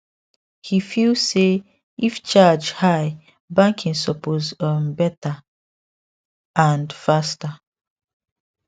he feel say if charge high banking suppose um better and faster